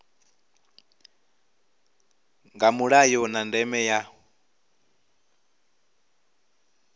nga mulayo na ndeme ya